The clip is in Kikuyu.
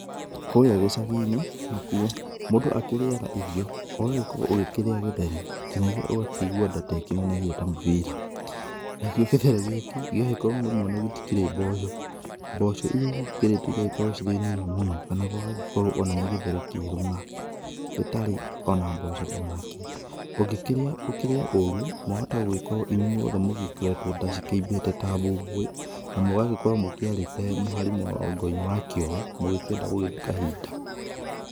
Kũrĩa gĩcagi-inĩ nakuo, mũndũ akĩrĩaga irio, ũgagĩkorwo ũkĩrĩa gĩthere nginyagia ũgakĩigua nda ta ĩnenehire ta mũbira, nakĩo gĩthere gĩkĩ, gĩgagĩkorwo rĩmwe ona gĩtikĩrĩ mboco, mboco iria igĩkĩrĩtwo igagĩkorwo cirĩ nini mũno, kana gũgagĩkorwo ona nĩ gĩthere kĩerũ ng'a, gĩtarĩ o na mboco o na kĩ. Ũngĩkĩrĩa ũkĩrĩe ooru, mwahota gũgĩkorwo inyuothe mũgĩkoretwo nda cikĩimbĩte ta bũbũĩ, na mũgagĩkorwo mũkĩarĩte mũhari mũrango-inĩ wa kĩoro, mũgĩkĩenda gũgĩthiĩ kahinda.